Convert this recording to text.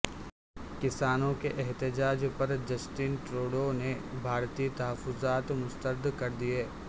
کسانوں کے احتجاج پر جسٹن ٹروڈو نے بھارتی تحفظات مسترد کر دیئے